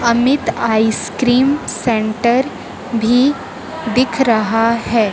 Amit ice cream centre भी दिख रहा है।